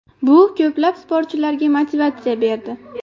Bu ko‘plab sportchilarga motivatsiya berdi.